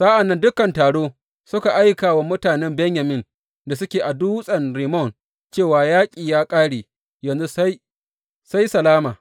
Sa’an nan dukan taro suka aika wa mutanen Benyamin da suke a Dutsen Rimmon cewa yaƙi ya ƙare, yanzu sai salama.